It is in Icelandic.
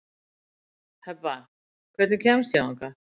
Hebba, hvernig kemst ég þangað?